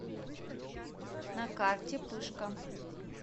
на карте пышка